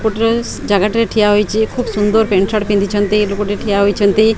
ଜାଗାଟିରେ ଠିଆହୋଇଚି ଖୁବ୍ ସୁନ୍ଦର ପ୍ୟାଣ୍ଟ୍ ସାର୍ଟ ପିନ୍ଧିଛନ୍ତି ଲୋକୋ ଟି ଠିଆ ହେଇଛନ୍ତି।